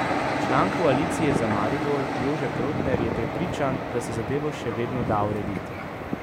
Član Koalicije za Maribor Jože Protner je prepričan, da se zadevo še vedno da urediti.